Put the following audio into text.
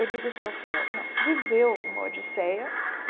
Eu digo sofreu, não, viveu uma odisseia.